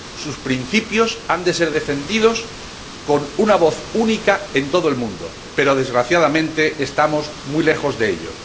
Sus principios han de ser defendidos con una voz única en todo el mundo, pero desgraciadamente estamos muy lejos de ello.